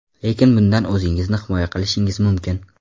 Lekin bundan o‘zingizni himoya qilishingiz mumkin.